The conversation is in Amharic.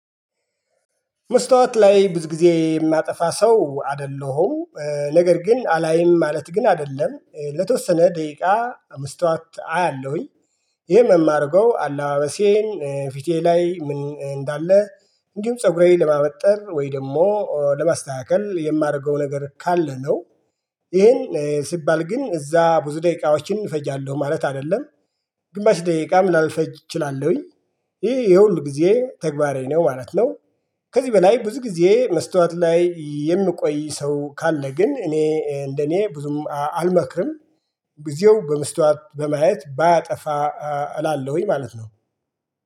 መስታወት ላይ ብዙ ጊዜ የማጠፋ ሰው አይደለሁም ነገር ግን አላይም ማለት ግን አይደለም ለተወሰነ ደቂቃ መስታወት አያለሁኝ። ይሄን የማረገው አለባበሴን ፊቴ ላይ ምን እንዳለ? እንዲሁም ፀጉሬን ለማበጠር ወይ ደግሞ ለማስተካከል የማደርገው ነገር ካለ ነው። ይሄን ሲባል ግን እዛ ብዙ ደቂቃዎችን እፈጃለሁ ማለት አይደለም። ግማሽ ደቂቃ ምናምን ልፈጅ እችላለሁኝ። ይሄ የሁል ጊዜ ተግባሬ ነው ማለት ነው። ከዚህ በላይ ብዙ ጊዜ መስታወት ላይ የሚቆይ ሰው ካለ ግን እኔ እንደኔ ብዙም አልመክርም። ጊዜው በመስታወት በማየት ባያጠፋ እላለሁኝ ማለት ነው።